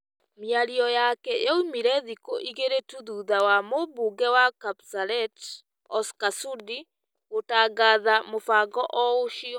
Mĩario yake yoimire thikũ igĩrĩ tu thutha wa mũmbunge wa Kapseret Oscar Sudi gũtangatha mũbango o ũcio